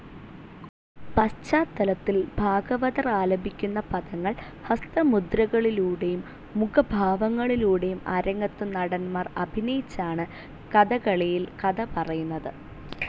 പശ്ചാത്തലത്തിൽ ഭാഗവതർ ആലപിക്കുന്ന പദങ്ങൾ ഹസ്തമുദ്രകളിലൂടെയും, മുഖഭാവങ്ങളിലൂടെയും അരങ്ങത്തു നടൻമാർ അഭിനയിച്ചാണ്‌ കഥകളിയിൽ കഥ പറയുന്നത്.